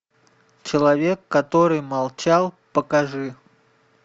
человек который молчал покажи